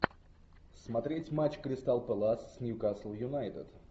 смотреть матч кристал пэлас с ньюкасл юнайтед